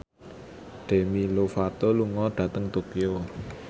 Demi Lovato lunga dhateng Tokyo